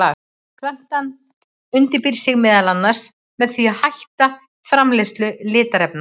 Plantan undirbýr sig meðal annars með því að hætta framleiðslu litarefna.